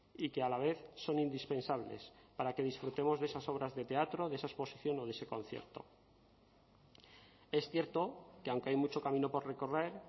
y que a la vez son indispensables para que disfrutemos de esas obras de teatro de esa exposición o de ese concierto es cierto que aunque hay mucho camino por recorrer